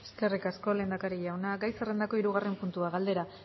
eskerrik asko lehendakari jauna gai zerrendako hirugarren puntua galdera